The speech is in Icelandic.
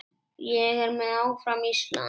Ég er með, áfram Ísland.